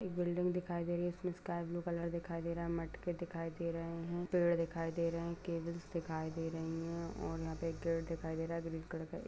एक बिल्डिंग दिखाई दे रही है उसमें स्काई ब्लू कलर दिखाई दे रहा है मटके दिखाई दे रहे हैं पेड़ दिखाई दे रहे हैं केबल्स दिखाई दे रहे हैं और यहाँ पे एक गेट दिखाई दे रहा है ग्रीन कलर का।